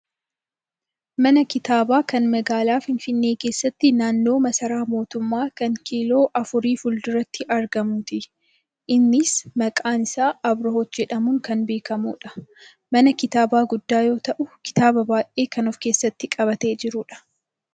mana kitaabaa kan magaalaa Finfinnee keessatti naannoo massaaraa mootummaa kan kiiloo afurii fuulduratti argamuuti. innis maqaan isaa Abriihot jedhamuun kan beekkamudha. mana kitaabaa guddaa yoo ta'u kitaaba baayyee kan of keessatti qabatee jirudha.